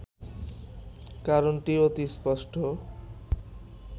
কারণটি অতি স্পষ্ট